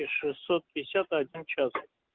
и шестьсот пятьдесят один час